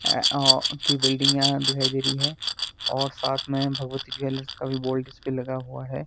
ए O की building यहा दिखाई दे रही है और साथ में भगवती ज्वैलर्स का भी बोर्ड इसपे लगा हुआ है।